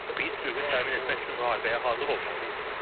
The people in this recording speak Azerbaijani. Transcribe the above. Biz sülhü qorumaq üçün müharibəyə hazır olmalıyıq.